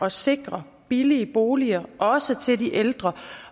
at sikre billige boliger også til de ældre